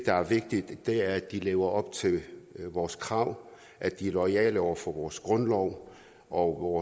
er vigtigt er at de lever op til vores krav at de er loyale over for vores grundlov og